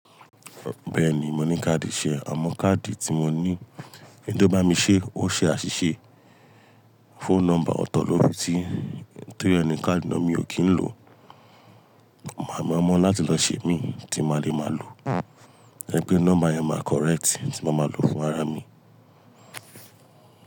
Bẹ́ẹ̀ni, mo ní káàdì iṣe àmọ́ káàdì tí mo ní, èyí tó bá mi ṣé, ó ṣe àṣìṣe. Phone number ọ̀tọ̀ ló fi si, tó ri ẹ ni káàdì náà mi ò kí n lò. Màá mu lọ láti lọ ṣe imi, tí máa dẹ máa lò. To jẹ pé number yẹn máa correct tí máa ma lò fún ara mi.